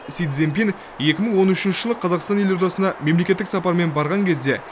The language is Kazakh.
си цзинпинь екі мың он үшінші жылы қазақстан елордасына мемлекеттік сапармен барған кезінде